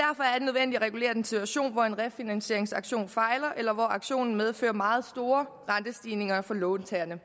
nødvendigt at regulere den situation hvor en refinansieringsaktion fejler eller hvor aktionen medfører meget store rentestigninger for låntagerne